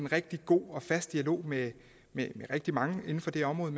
rigtig god og fast dialog med rigtig mange inden for det område